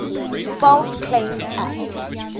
false claims act